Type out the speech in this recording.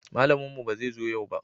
Malamin mu ba zai zo yau ba